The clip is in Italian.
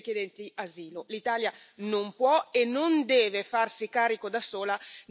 L'Italia non può e non deve farsi carico da sola della frontiera europea.